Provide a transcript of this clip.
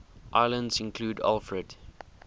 islands included alfred